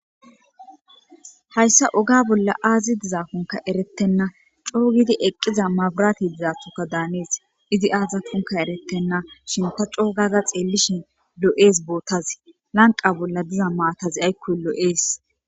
hayssa oga bolla aazi dizakonka eretenna coogidi eqqiza maburati dizathoka daanees izi aazakonkka eretenna shin ta coogada xeellishin lo7ees bootazi lanqe bolla diza maatazi aykkoy loo7ees